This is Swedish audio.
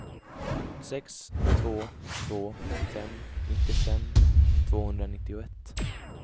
sex två två fem nittiofem tvåhundranittioett